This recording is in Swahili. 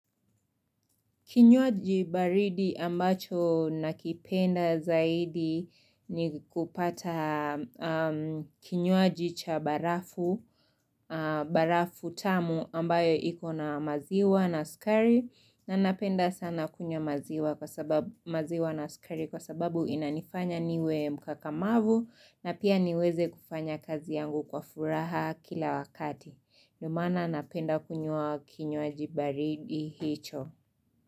Kinywaji baridi ambacho nakipenda zaidi ni kupata kinywaji cha barafu tamu ambayo ikona maziwa na skari na napenda sana kunyuwa maziwa na skari kwa sababu inanifanya niwe mkakamavu na pia niweze kufanya kazi yangu kwa furaha kila wakati. Nlldio maana napenda kunywa kinywaji baridi hicho.